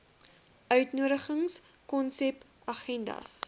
uitnodigings konsep agendas